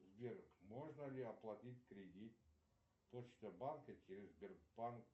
сбер можно ли оплатить кредит почта банка через сбербанк